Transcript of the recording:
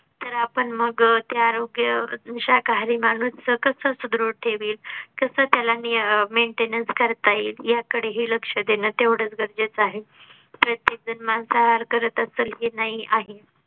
तर आपण मग त्या आरोग्या शाकाहारी माणूस च कस असत सुदृढ ठेवील कस त्याला maintenance करता येईल याकडेही लक्ष देणे तेवढेच गरजेचे आहे. प्रत्येक जण मांसाहार करत असेल की नाही आहे